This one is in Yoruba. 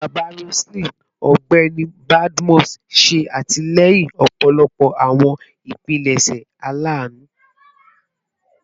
Baba Roseline, Ọgbẹni Badmus, ṣe atilẹyin ọpọlọpọ awọn ipilẹṣẹ alanu